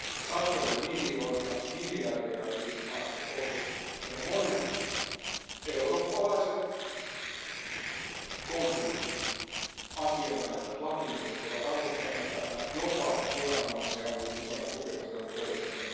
Satoja miljoonia, miljardeja on viety maasta pois, ja monet eurooppalaiset konsultit, asianajajat ja lakimiehet ovat avustaneet tässä jopa viranomaisia on ollut mukana tukemassa tätä toimintaa.